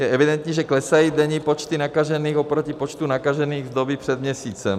Je evidentní, že klesají denní počty nakažených oproti počtu nakažených z doby před měsícem.